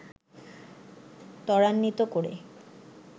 ত্বরান্বিত করে